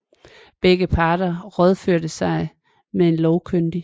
Begge parter rådførte sig med en lovkyndig